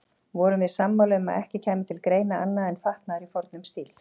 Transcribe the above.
Vorum við sammála um að ekki kæmi til greina annað en fatnaður í fornum stíl.